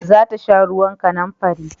Za ta sha ruwan kanamfari